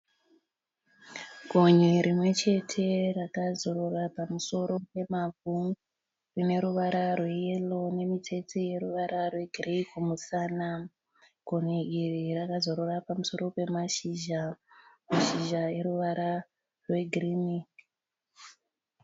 Gonye rimwe chete rakazorora pamusoro pemavhu rine ruvara rweyero nemitsetse yeruvara rwegireyi kumusana. Gonye iri rakazorora pamusoro pemashizha. Mashizha eruvara rwegirini.